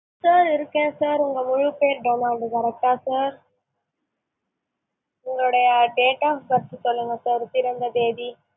sir இருக்கேன் sir உங்களோட முழுப்பெயர் டொனால்டு correct டா sir? உங்களுடைய date of birth சொல்லுங்க sir? பிறந்த தேதி